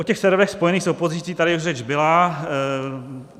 O těch serverech spojených s opozicí tady už řeč byla.